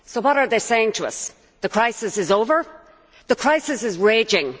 Are they saying to us that the crisis is over, when the crisis is raging?